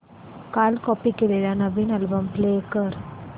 काल कॉपी केलेला नवीन अल्बम प्ले कर